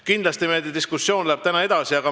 Kindlasti läheb meie diskussioon täna edasi.